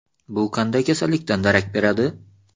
Bu qanday kasallikdan darak beradi?